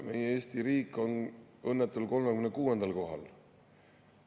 Meie Eesti riik on õnnetul 36. kohal.